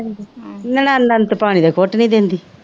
ਅੰਤ ਪਾਣੀ ਦਾ ਕੁੱਟ ਵੀ ਦਿੰਦੀ